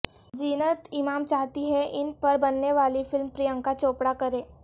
زینت امان چاہتی ہیں ان پر بنے والی فلم پریانکا چوپڑا کریں